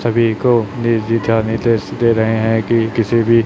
सभी को दे रहे हैं कि किसी भी।